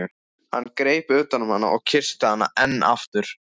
Hann greip utan um hana og kyssti hana enn aftur.